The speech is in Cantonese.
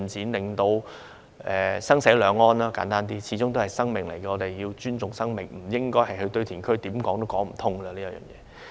簡單而言，要讓生死兩安，因為嬰兒始終是生命，我們要尊重生命，不應該將遺骸運到堆填區。